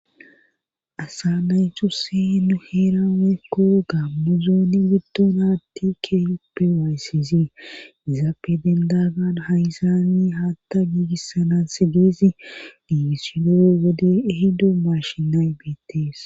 Aasa naytuse nu heera weekko gammuzooni giddon haatti keeyoppe wayssizii izaape dendagan hayzaani haatta giigissana se geesi diigisido wode ehido mashinay biittees